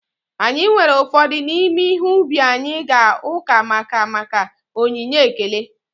Anyị weere ụfọdụ n’ime ihe ubi anyị gaa uka maka maka onyinye ekele